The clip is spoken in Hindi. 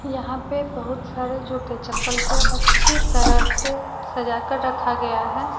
यहां पे बहुत सारे जूते चप्पल को अच्छी तरह से सजा कर रखा गया है।